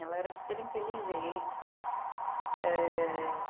Ela era super inteligente.